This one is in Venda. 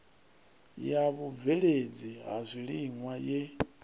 ya vhubveledzi ha zwiliṅwa ye